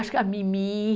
Acho que a Mimi.